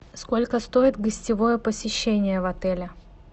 сколько стоит гостевое посещение в отеле